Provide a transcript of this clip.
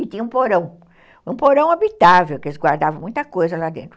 E tinha um porão, um porão habitável, que eles guardavam muita coisa lá dentro.